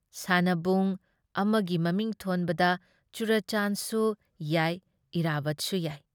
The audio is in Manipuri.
ꯁꯥꯟꯅꯕꯨꯡ ꯑꯃꯒꯤ ꯃꯃꯤꯡ ꯊꯣꯟꯕꯗ ꯆꯨꯔꯥꯆꯥꯟꯁꯨ ꯌꯥꯏ ꯏꯔꯥꯕꯠꯁꯨ ꯌꯥꯏ ꯫